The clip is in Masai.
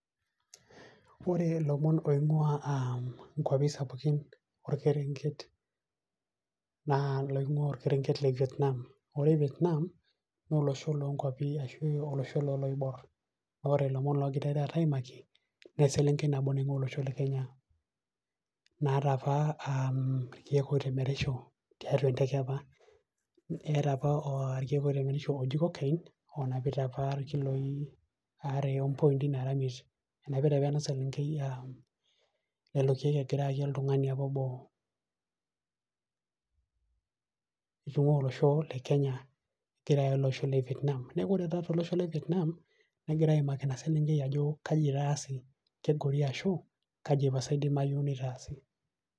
ore ilomon oingua inkwapi sapukin okerenket naa iloonguaa orkerenket le vietnam ore vietnam naa olosho loo nkwapi loo iloibor. naa ore ilomon ogirae taata aimaki naa lomon le selenkei nabo naing'uaaa olosho le kenya. naata apa irkeek oitemerisho, oooji cocaine irkiloi aree ompointi naara imiet enapita.